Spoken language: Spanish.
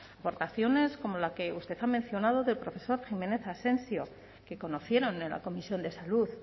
aportaciones como la que usted ha mencionado del profesor jiménez asensio que conocieron en la comisión de salud